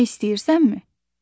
Bilmək istəyirsənmi?